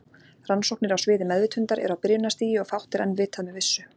Rannsóknir á sviði meðvitundar eru á byrjunarstigi og fátt er enn vitað með vissu.